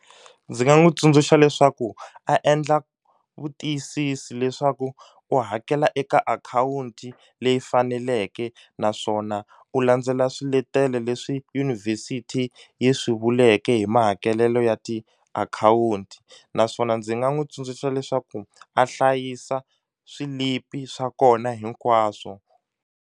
Ndzi nga n'wu tsundzuxa leswaku a endla vutiyisisi leswaku u hakela eka akhawunti leyi faneleke naswona u landzela swiletelo leswi yunivhesiti yi swi vuleke hi mahakelelo ya tiakhawunti naswona ndzi nga n'wu tsundzuxa leswaku a hlayisa swilipi swa kona hinkwaswo.